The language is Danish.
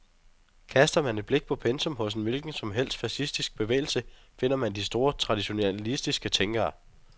Kaster man et blik på pensum hos en hvilken som helst fascistisk bevægelse, finder man de store traditionalistiske tænkere.